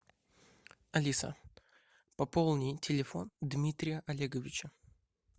алиса пополни телефон дмитрия олеговича